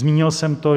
Zmínil jsem to.